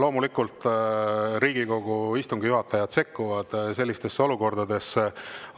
Loomulikult, Riigikogu istungi juhatajad sekkuvad sellistesse olukordadesse,